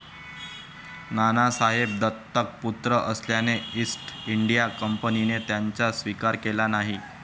नानासाहेब दत्तक पुत्र असल्याने ईस्ट इंडिया कंपनीने त्यांचा स्विकार केला नाही.